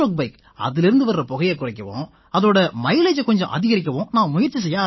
இதிலேர்ந்து வர்ற புகையைக் குறைக்கவும் இதோட மைலேஜை கொஞ்சம் அதிகரிக்கவும் நான் முயற்சி செய்ய ஆரம்பிச்சேன்